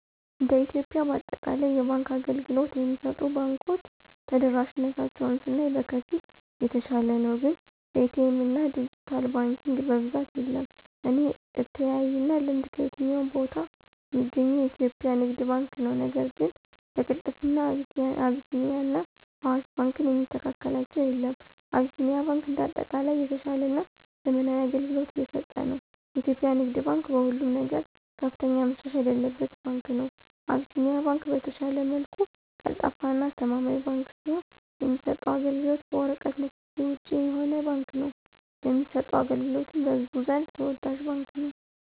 እንደ ኢትዮጵያ በአጠቃላይ የባንክ አገልግሎት የሚሰጡ ባንኮች ተደራሽነታቸውን ስናይ በከፊል የተሻለ ነው ግን በኤ.ቲ. ኤምና ድጅታል ባንኪንግ በብዛት የለም። በኔ አተያይና ልምድ ከየትኛውም ቦታ ሚገኘው የኢትዮጵያ ንግድ ባንክ ነው ነገር ግን በቅልጥፍና አቢሲኒያና አዋሽ ባንክን የሚስተካከላቸው የለም። አቢሲኒያ ባንክ እንደ አጠቃላይ የተሻለና ዘመናዊ አገልግሎት እየሰጠ ነው። የኢትዮጵያ ንግድ ባንክ በሁሉም ነገር ከፍተኛ መሻሻል ያለበት ባንክ ነው። አቢሲኒያ ባንክ በተሻለ መልኩ ቀልጣፋና አስተማማኝ ባንክ ሲሆን የሚሰጠውም አገልግሎት በወረቀት ንክኪ ውጭ የሆነ ባንክ ነው ለሚሰጠው አገልግሎቱም በህዝቡ ዘንድ ተወዳጅ ባንክ ነው።